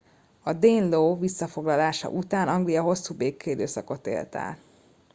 a danelaw visszafoglalása után anglia hosszú békeidőszakot élt át